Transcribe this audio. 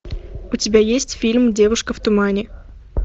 у тебя есть фильм девушка в тумане